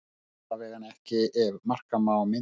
Allavega ekki ef marka má myndirnar